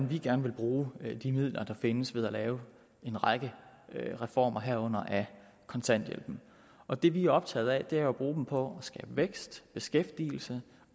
vi gerne vil bruge de midler der findes ved at lave en række reformer herunder af kontanthjælpen og det vi er optaget af er jo at bruge dem på at skabe vækst beskæftigelse